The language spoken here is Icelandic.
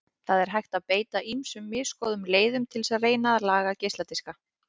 Það er hægt að beita ýmsum misgóðum leiðum til að reyna að laga geisladiska.